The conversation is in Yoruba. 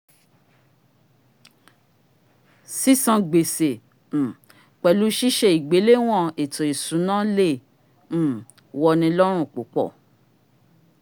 sísan gbèsè um pẹ̀lu ṣíṣe ìgbéléwọn ètò ìsúná lẹ̀ um wọni ló̩run púpọ̀